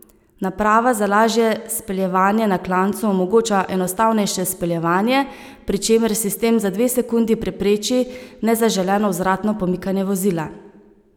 Naprava za lažje speljevanje na klancu omogoča enostavnejše speljevanje, pri čemer sistem za dve sekundi prepreči nezaželeno vzvratno pomikanje vozila.